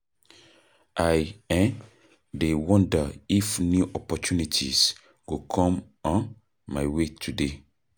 I um dey wonder if new opportunities go come um my way today.